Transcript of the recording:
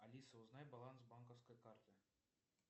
алиса узнай баланс банковской карты